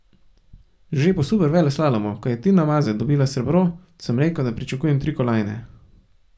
Že po superveleslalomu, ko je Tina Maze dobila srebro, sem rekel, da pričakujem tri kolajne.